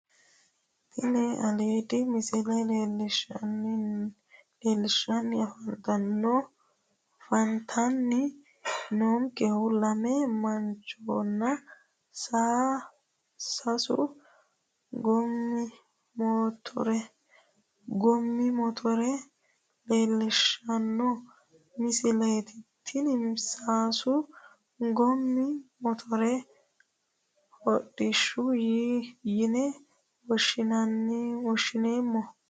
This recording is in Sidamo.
Tini aliidi misile leellishshanni afantanni noonkehu lame manchonna sasu goommi motore leellishshanno misileeti tini sasu goommi motore hodhishshaho yine woshshineemmo